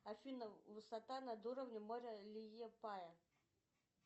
афина высота над уровнем моря лиепая